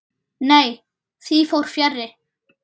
Nei, því fór fjarri.